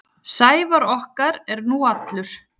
Sævar okkar er nú allur.